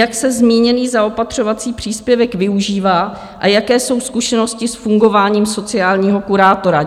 Jak se zmíněný zaopatřovací příspěvek využívá a jaké jsou zkušenosti s fungováním sociálního kurátora?